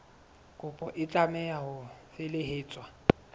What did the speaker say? kopo e tlameha ho felehetswa